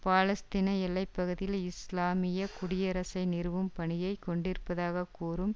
பாலஸ்தீன எல்லை பகுதியில் இஸ்லாமிய குடியரசை நிறுவும் பணியை கொண்டிருப்பதாக கூறும்